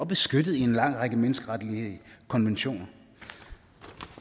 beskyttet i en lang række menneskeretlige konventioner